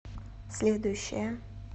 следующая